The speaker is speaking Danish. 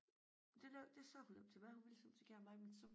Det næ det sagde hun nemlig til mig hun ville simpelthen så gerne med men så